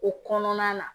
O kɔnɔna na